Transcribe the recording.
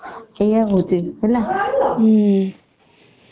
ଏଇୟା ହଉଛି ହେଲା ହଁ ସେଇୟା ତ